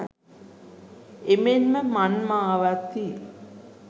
එමෙන්ම මංමාවත්හි